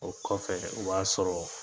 O kɔfɛ , o b'a sɔrɔ.